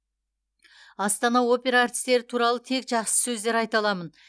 астана опера әртістері туралы тек жақсы сөздер айта аламын